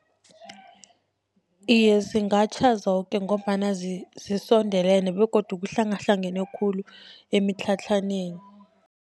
Iye, zingatjha zoke, ngombana zisondelene begodu kuhlangahlangane khulu emitlhatlhaneni.